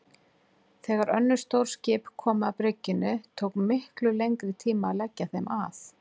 Þegar önnur stór skip komu að bryggjunni tók miklu lengri tíma að leggja þeim að.